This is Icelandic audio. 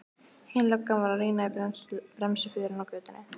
Hin löggan var að rýna í bremsuförin á götunni.